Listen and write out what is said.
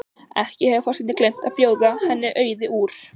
Ekki hefur forsetinn gleymt að bjóða henni Auði úr